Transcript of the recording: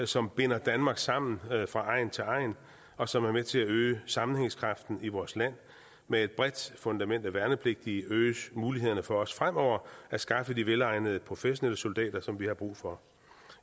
som binder danmark sammen fra egn til egn og som er med til at øge sammenhængskraften i vores land med et bredt fundament af værnepligtige øges mulighederne for også fremover at skaffe de velegnede professionelle soldater som vi har brug for